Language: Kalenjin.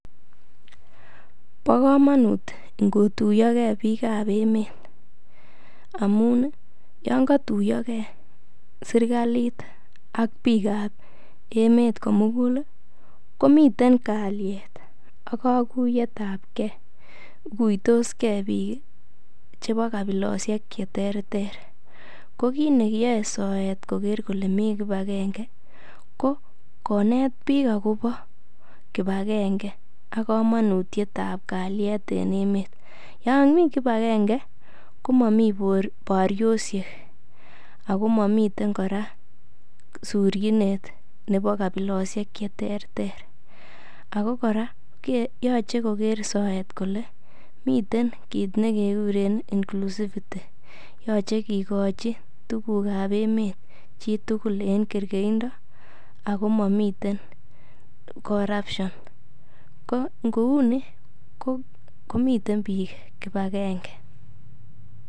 Bo komonut ingotuiyo ge biikab emet amun yon kotuiyo ge serkalit ak biikab emet komugul komiten kalyet ak koguiyet ab ge. Iguitos ge biik chebo kabilosiek che terter. Ko kiit neyoe soet sikoker kole mi kipagenge ko konet bik agobo kipagenge ak komonutiet ab kalyet en emet. Yon mi kipagenge komomi boryosiek agomomiten kora surchinet nebo kabilosiek che terter ago kora yoche koger soet kole miten kit ne keguren inclusivity yoche kigochi tuguk ab emet chitugul en kergeindo ago momiten corruption ko ngo uni komiten biik kipagenge.